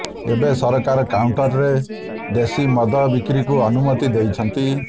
ଏବେ ସରକାର କାଉଣ୍ଟରରେ ଦେଶୀ ମଦ ବିକ୍ରିକୁ ଅନୁମତି ଦେଇଛନ୍ତି